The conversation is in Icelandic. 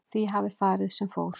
Því hafi farið sem fór